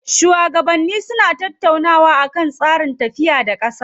Shuwagabanni suna tattaunawa akan tsarin tafiya da ƙasa.